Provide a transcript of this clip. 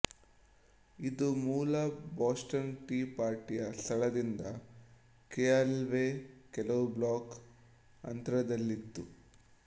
ಇದು ಮೂಲ Boston tea ಪಾರ್ಟಿಯ ಸ್ಥಳದಿಂದ ಕೆಅಲ್ವೇ ಕೆಲವು ಬ್ಲಾಕ್ ಅಂತರದಲ್ಲಿತ್ತು